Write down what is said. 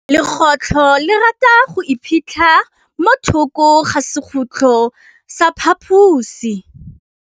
Legôtlô le rata go iphitlha mo thokô ga sekhutlo sa phaposi.